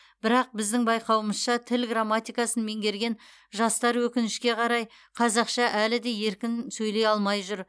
бірақ біздің байқауымызша тіл грамматикасын меңгерген жастар өкінішке қарай қазақша әлі де еркін сөйлей алмай жүр